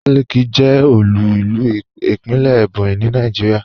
Abakaliki jẹ́ òlu ilú ìpínlẹ̀ Ebonyi ní Nàìjíríà.